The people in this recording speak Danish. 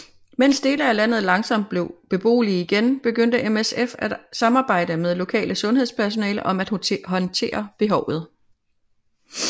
Mens dele af landet langsomt blev beboelige igen begyndte MSF at samarbejde med lokale sundhedspersonale om at håndtere behovet